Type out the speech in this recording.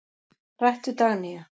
Rætt við Dagnýju.